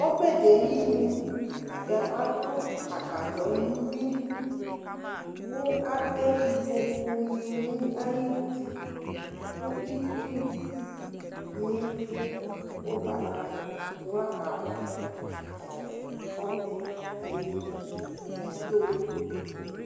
Ɔbɛ dɩ ayinu la kʋ atʋ agbadɔ nʋ uyui kʋ atɛ ikpokunɩ nʋ ayuti kʋ itsunɩ nʋ ʋgbatawla awlanɩ kɔ nʋ ɔbɛ yɛ ayinu nʋ ito